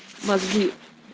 мозги